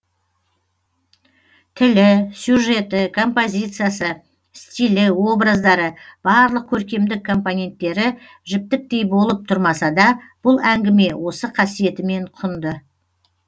тілі сюжеті композициясы стилі образдары барлық көркемдік компоненттері жіптіктей болып тұрмаса да бұл әңгіме осы қасиетімен құнды